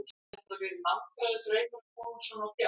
Lóa: Hefur þetta verið langþráður draumur að komast svona á fjöll?